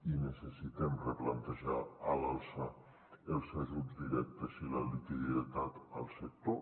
i necessitem replantejar a l’alça els ajuts directes i la liquiditat al sector